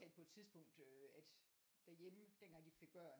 At på et tidspunkt øh at derhjemme dengang de fik børn